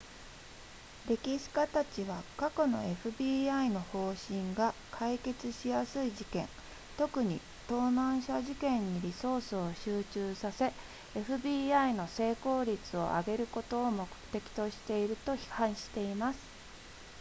歴史家たちは過去の fbi の方針が解決しやすい事件特に盗難車事件にリソースを集中させ fbi の成功率を上げることを目的としていると批判しています